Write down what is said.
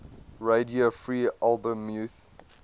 radio free albemuth